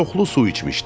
Çoxlu su içmişdim.